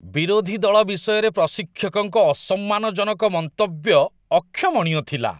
ବିରୋଧୀ ଦଳ ବିଷୟରେ ପ୍ରଶିକ୍ଷକଙ୍କ ଅସମ୍ମାନଜନକ ମନ୍ତବ୍ୟ ଅକ୍ଷମଣୀୟ ଥିଲା।